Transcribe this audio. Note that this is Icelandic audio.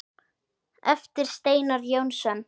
eftir Steinar Jónsson